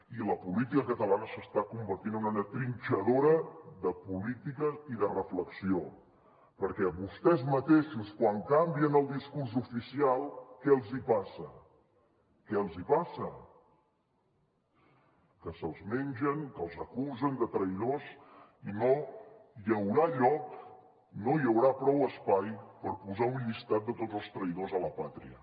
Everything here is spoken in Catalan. i la política catalana s’està convertint en una trinxadora de política i de reflexió perquè a vostès mateixos quan canvien el discurs oficial que els hi passa que se’ls mengen que els acusen de traïdors i no hi haurà lloc no hi haurà prou espai per posar un llistat de tots els traïdors a la pàtria